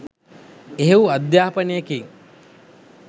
එහෙව් අධ්යානපනයකින්